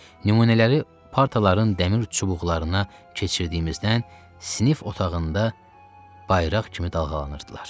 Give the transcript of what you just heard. Nümunələri partaların dəmir çubuqlarına keçirdiyimizdən sinif otağında bayraq kimi dalğalanırdılar.